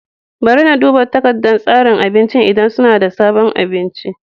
Bari na duba takardar tsarin abincin idan suna da sabon abinci.